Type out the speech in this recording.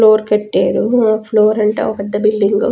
Floor కట్టారు floor అంటే ఒక్క పెద్ద బిల్డింగ్ .